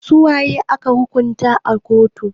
Su waye ake hukuntawa a kotu?